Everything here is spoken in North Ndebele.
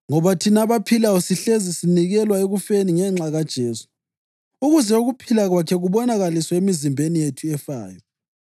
Ngoba thina abaphilayo sihlezi sinikelwa ekufeni ngenxa kaJesu, ukuze ukuphila kwakhe kubonakaliswe emizimbeni yethu efayo.